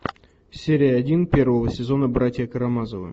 серия один первого сезона братья карамазовы